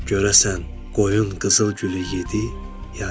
Görəsən qoyun qızıl gülü yedi ya yox?